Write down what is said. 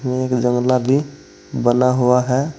एक जंगला भी बना हुआ है।